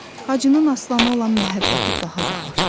Hacının Aslanı olan məhəbbəti daha da artdı.